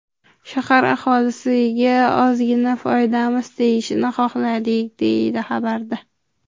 Shahar aholisiga ozgina foydamiz tegishini xohladik”, deyiladi xabarda.